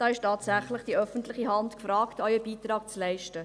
Da ist tatsächlich die öffentliche Hand gefragt, auch einen Beitrag zu leisten.